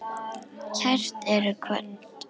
Kært ertu kvödd.